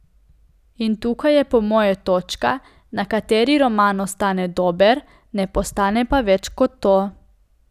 In tukaj je po moje točka, na kateri roman ostane dober, ne postane pa več kot to.